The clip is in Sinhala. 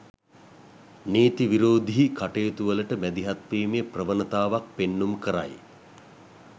නීතිවිරෝධී කටයුතුවලට මැදිහත්වීමේ ප්‍රවණතාවක් පෙන්නුම් කරයි.